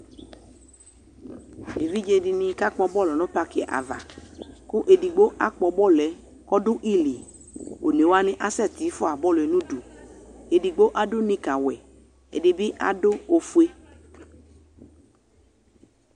Evidze dini kakpɔ bɔlu nʋ paki avaKʋ edigbo akpɔ bɔluɛ kɔdʋ iliOne wani asɛti fua bɔluɛ nuduEdigbo adʋ nika wɛƐdibi adʋ ofue